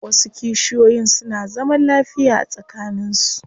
Wasu kishiyoyin suna zaman lafiya tsakanin su.